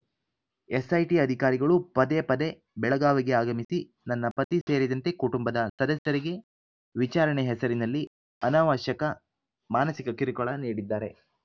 SIT ಅಧಿಕಾರಿಗಳು ಪದೇ ಪದೆ ಬೆಳಗಾವಿಗೆ ಆಗಮಿಸಿ ನನ್ನ ಪತಿ ಸೇರಿದಂತೆ ಕುಟುಂಬದ ಸದಸ್ಯರಿಗೆ ವಿಚಾರಣೆ ಹೆಸರಿನಲ್ಲಿ ಅನವಶ್ಯಕವಾಗಿ ಮಾನಸಿಕ ಕಿರುಕುಳ ನೀಡಿದ್ದಾರೆ